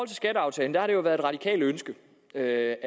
til skatteaftalen har det jo været et radikalt ønske at